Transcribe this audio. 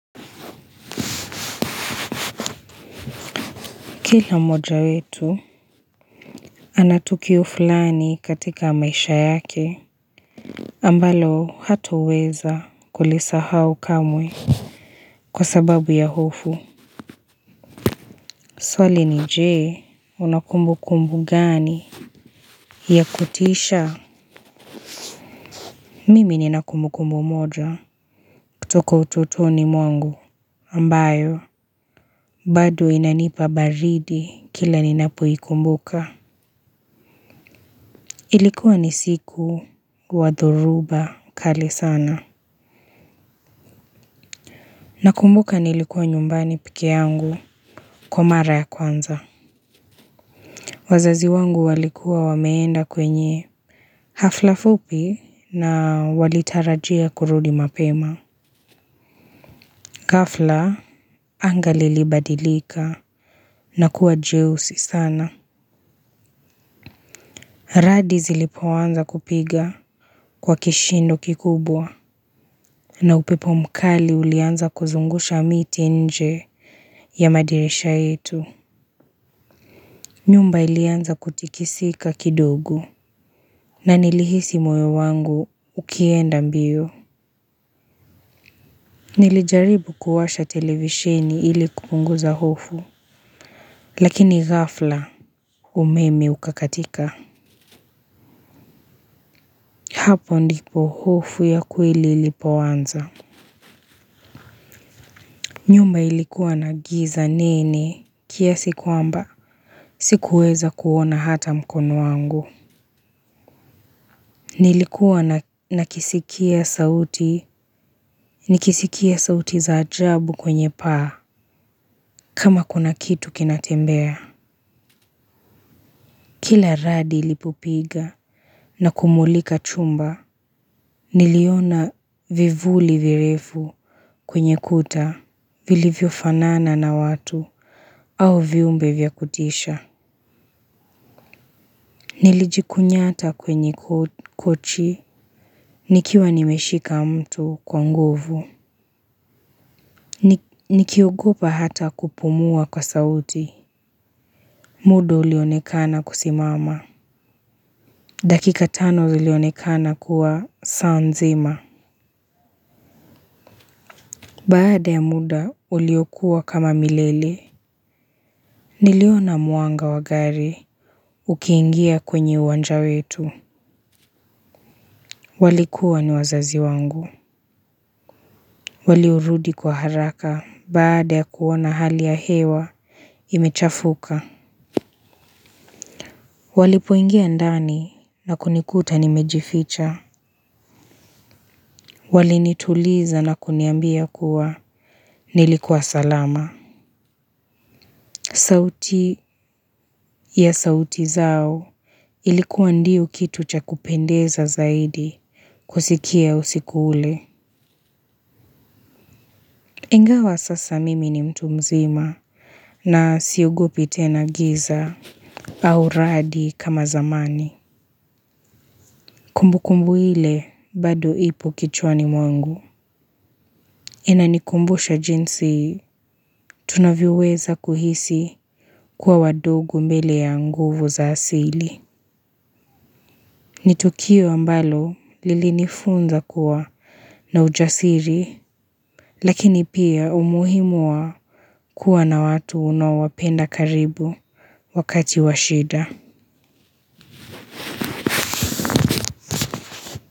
Kila moja wetu ana tukio fulani katika maisha yake ambalo hatoweza kulisahau kamwe kwa sababu ya hofu. Swali ni je una kumbu kumbu gani ya kutisha mimi nina kumbu kumbu moja kutoka ututoni mwangu ambayo bado inanipa baridi kila ninapoikumbuka. Ilikuwa ni siku wa dhoruba kali sana. Nakumbuka nilikuwa nyumbani peke yangu kwa mara ya kwanza. Wazazi wangu walikuwa wameenda kwenye hafla fupi na walitarajia kurudi mapema. Ghafla anga lilibadilika na kuwa jeusi sana. Radi zilipoanza kupiga kwa kishindo kikubwa na upepo mkali ulianza kuzungusha miti nje ya madirisha yetu. Nyumba ilianza kutikisika kidogo na nilihisi moyo wangu ukienda mbio. Nilijaribu kuwasha televishini ili kupunguza hofu lakini ghafla umeme ukakatika. Hapo ndipo hofu ya kweli ilipoanza. Nyumba ilikuwa na giza nene kiasi kwamba sikuweza kuona hata mkono wangu. Nilikuwa nakisikia sauti, nikisikia sauti za ajabu kwenye paa kama kuna kitu kinatembea. Kila radi ilipopiga na kumulika chumba, niliona vivuli virefu kwenye kuta, vilivyo fanana na watu au viumbe vya kutisha. Nilijikunyata kwenye kochi, nikiwa nimeshika mto kwa nguvu. Nikiogopa hata kupumua kwa sauti. Muda ulionekana kusimama. Dakika tano ulionekana kuwa saa nzima baada ya muda uliokuwa kama milele niliona mwanga wa gari ukiingia kwenye uwanja wetu. Walikuwa ni wazazi wangu. Waliorudi kwa haraka baada ya kuona hali ya hewa imechafuka. Walipoingia ndani na kunikuta nimejificha. Walinituliza na kuniambia kuwa nilikuwa salama. Sauti ya sauti zao ilikuwa ndiyo kitu cha kupendeza zaidi kusikia usiku ule. Ingawa sasa mimi ni mtu mzima na siogopi tena giza au radi kama zamani. Kumbu kumbu ile bado ipo kichwani mwangu. Inanikumbusha jinsi tunavyoweza kuhisi kuwa wadogo mbele ya nguvu za asili. Ni tukio ambalo lilinifunza kuwa na ujasiri, lakini pia umuhimu wa kuwa na watu unaowapenda karibu wakati wa shida.